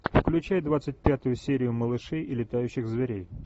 включай двадцать пятую серию малышей и летающих зверей